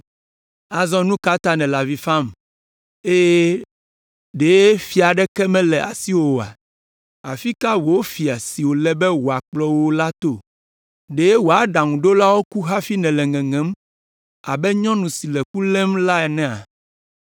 Azɔ nu ka ta nèle avi fam eye ɖe fia aɖeke mele asiwò oa? Afi ka wò fia si wòle be wòakplɔ wò la to? Ɖe wò aɖaŋuɖolawo ku hafi nèle ŋeŋem abe nyɔnu si le ku lém la enea?